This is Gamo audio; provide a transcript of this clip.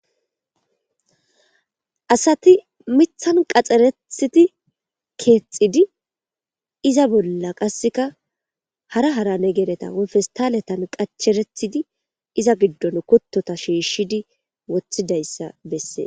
Asati mithan qaxxerethiti keexidi iza bolla qasseka hara hara negeereta wufestaaletan qacherethidi iza giddon kuttota shiishshidi wothidayssa bessee.